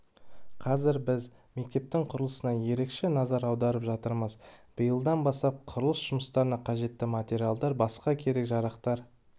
қазір біз мектептің құрылысына ерекше назар аударып жатырмыз биылдан бастап құрылыс жұмыстарына қажетті материалдар басқа керек-жарақтар